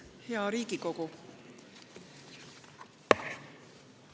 Hea Riigikogu!